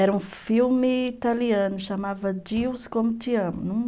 Era um filme italiano, chamava Deus Como Te Amo.